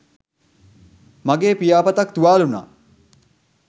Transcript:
මගේ පියාපතක් තුවාල වුණා.